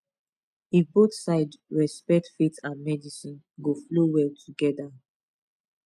if both sides respect faith and medicine go flow well together